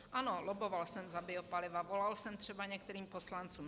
Ano, lobboval jsem za biopaliva, volal jsem třeba některým poslancům.